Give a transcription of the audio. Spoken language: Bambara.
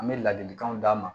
An bɛ ladilikanw d'a ma